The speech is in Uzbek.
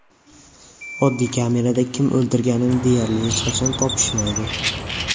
Oddiy kamerada kim o‘ldirganini deyarli hech qachon topishmaydi.